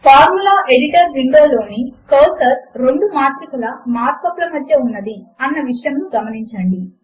formula editor window లోని cursor రెండు మాత్రికల మార్క్ అప్ ల మధ్య ఉన్నది అన్న విషయమును గమనించండి